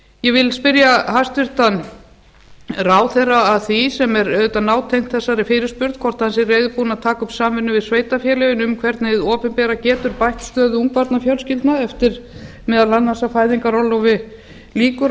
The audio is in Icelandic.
ég vil spyrja hæstvirtan ráðherra að því sem er auðvitað nátengt þessari fyrirspurn hvort hann sé reiðubúinn að taka upp samvinnu við sveitarfélögin um hvernig hið opinbera getur bætt stöðu ungbarnafjölskyldna eftir meðal annars að fæðingarorlofi lýkur og